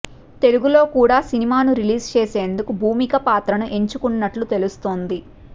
తెలుగులో కూడా సినిమాను రిలీజ్ చేసేందుకు భూమిక పాత్రను ఎంచుకున్నట్లు తెలుస్తోంది